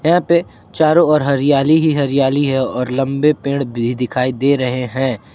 यहां पर चारों ओर हरियाली ही हरियाली है और लंबे पेड़ भी दिखाई दे रहे है